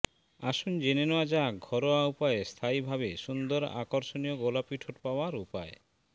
আসুন জেনে নেওয়া যাক ঘরোয়া উপায়ে স্থায়ী ভাবে সুন্দর আকর্ষণীয় গোলাপি ঠোঁট পাওয়ার উপায়